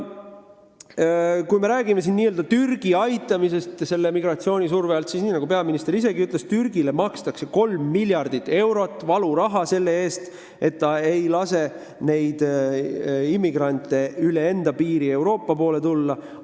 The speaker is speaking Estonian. Kui me räägime Türgi väljaaitamisest migratsiooni surve alt, siis nagu peaminister ütles, Türgile makstakse 3 miljardit eurot valuraha selle eest, et ta ei lase immigrante üle enda piiri Euroopa poole tulla.